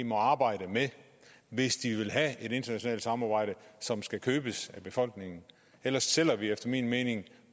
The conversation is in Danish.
må arbejde med hvis de vil have et internationalt samarbejde som skal købes af befolkningen ellers sælger vi efter min mening